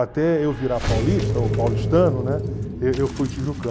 Até eu virar paulista, ou paulistano, né eu eu fui tijucano.